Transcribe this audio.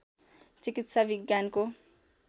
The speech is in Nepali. चिकित्सा विज्ञानको